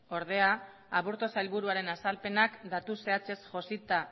ordea aburtu sailburuaren azalpenak datu zehatzez josita